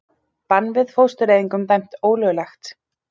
Bann við fóstureyðingum dæmt ólöglegt